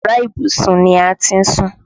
Iyàrá ìbùsùn ni a ti ń sùn